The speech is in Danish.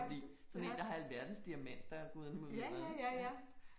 Det kan jeg altså godt lide. Sådan en der har alverdens diamanter og guderne må vide hvad